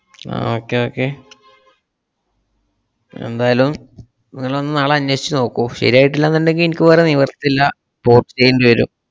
ആഹ് okay okay എന്തായാലും നിങ്ങളൊന്ന് നാളെ അന്വേഷിച്ചുനോക്കൂ ശരിയായിട്ടില്ലാന്നുണ്ടെങ്കി ഇനിക്ക് വേറെ നിവൃത്തില്ല port ചെയ്യണ്ടിവരും.